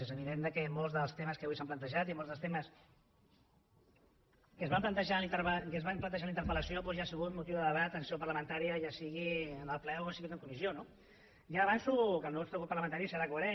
és evident que molts dels temes que avui s’han plantejat i molts dels temes que es van plantejar en la interpel·lació doncs ja ha sigut motiu de debat en seu parlamentària ja sigui en el ple o ja sigui en la comissió no ja avanço que el nostre grup parlamentari serà coherent